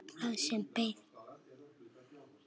Það sem beið.